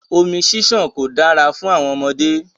Omi ṣiṣan ko da fún àwọn ọmọdé.